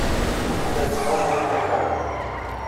пошукай сериал вольная грамота